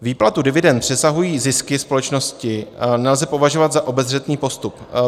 Výplatu dividend přesahující zisky společnosti nelze považovat za obezřetný postup.